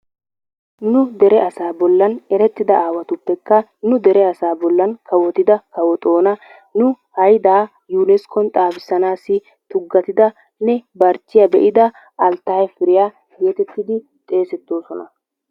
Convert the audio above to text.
Nu dere asaa bollan erettida asaappekka nu dere asaa bollan kawo Xoona, nu haydaa yuuniskkon xaafissanaassi tuggatidanne barchchiya be'ida Alttaye Piriya geetettidi xeesettoosona.